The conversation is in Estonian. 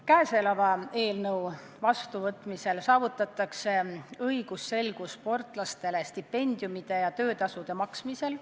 Käesoleva eelnõu vastuvõtmisel saavutatakse õigusselgus sportlastele stipendiumide ja töötasude maksmisel.